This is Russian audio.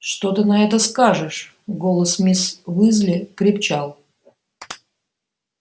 что ты на это скажешь голос мисс уизли крепчал